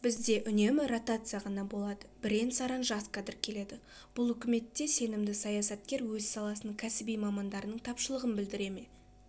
бізде үнемі ротация ғана болады бірен-саран жас кадр келеді бұл үкіметте сенімді саясаткер өз саласының кәсіби мамандарының тапшылығын білдіре ме